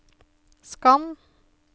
skann